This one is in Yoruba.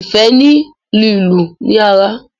ifẹ ni lílu ni ara.